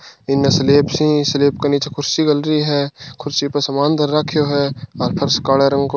इने स्लैब्स ही स्लैब के नीचे खुर्सी घलरी है खुर्सी पर समान धर राख्यो है और फर्श काला रंग को --